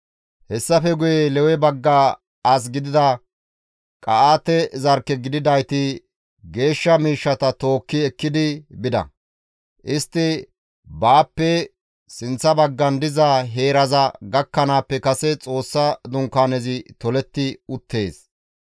Hessafe guye Lewe bagga as gidida Qa7aate zarkke gididayti geeshsha miishshata tookki ekkidi bida; istti baappe sinththa baggan diza heeraza gakkanaappe kase Xoossa dunkaanezi toletti uttees.